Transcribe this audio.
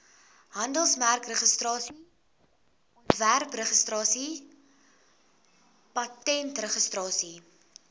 handelsmerkregistrasie ontwerpregistrasie patentregistrasie